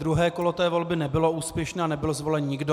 Druhé kolo té volby nebylo úspěšné, nebyl zvolen nikdo.